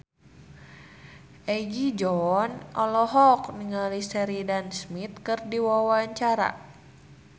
Egi John olohok ningali Sheridan Smith keur diwawancara